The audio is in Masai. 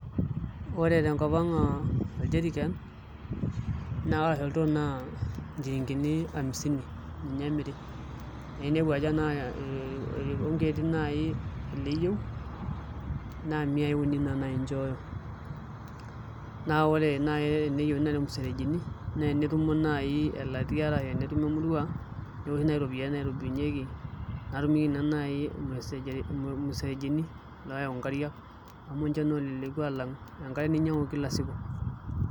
Ore tenkop o oljeriken arashu oltoo naa inchilingini hamsini ninye imiri naa ainepu ajo enaa ilkonkieti nai ile iyiou naa miyai uni nai inchooyo naa ore nai teneyiuni ilmusejirini naa tenetumo nai elatia arashu enetumo emurua netokinyai iropiyiani naitobirunyieki natumieki ninye nai olmusejorini ilmusejirini oyawu nkarik amu inche naa oleleku alang enkare ninyiangu Kila siku